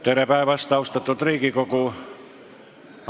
Tere päevast, austatud Riigikogu!